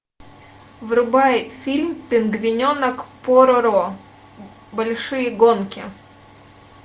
врубай фильм пингвиненок пороро большие гонки